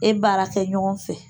E baara kɛ ɲɔgɔn fɛ